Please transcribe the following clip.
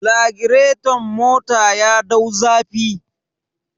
Lagireton mota ya dau zafi.